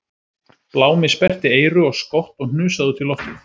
Blámi sperrti eyru og skott og hnusaði út í loftið